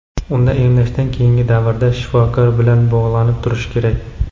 unda emlashdan keyingi davrda – shifokor bilan bog‘lanib turishlari kerak.